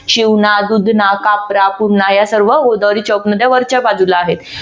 शिवना, दुधना, कापरा, पूर्णा या सर्व गोदावरीच्या उपनद्या वरच्या बाजूला आहेत.